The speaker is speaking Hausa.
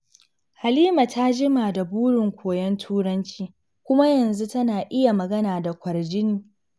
Halima ta jima da burin koyon Turanci, kuma yanzu tana iya magana da kwarjini.